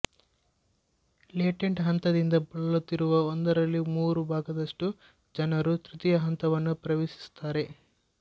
latent ಹಂತದಿಂದ ಬಳಲುತ್ತಿರುವ ಒಂದರಲ್ಲಿ ಮೂರು ಭಾಗದಷ್ಟು ಜನರು ತೃತೀಯ ಹಂತವನ್ನು ಪ್ರವೇಶಿಸುತ್ತಾರೆ